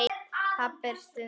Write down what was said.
Pabbi stundi þungan.